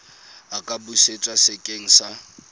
a ka busetswa sekeng sa